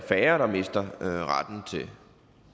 færre der mister retten